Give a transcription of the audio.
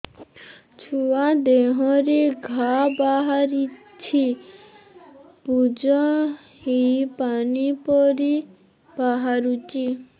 ଛୁଆ ଦେହରେ ଘା ବାହାରିଛି ପୁଜ ହେଇ ପାଣି ପରି ବାହାରୁଚି